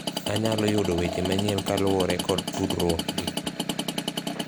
anyalo yudo weche manyien kaluwore kod tudruokgi